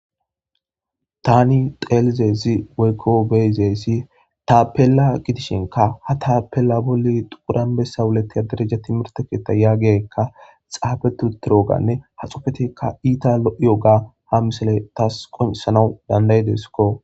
Tani dhelizaysi woyko be'izaysi tapela gidishinka ha tapela boli dhiqur anbesa wuletiya dereja timirte ketha yagiyaykka xaafeti uturoganne ha xufetekka iita lo'iyoga ha missile tas qonc'isanaw danda'desko.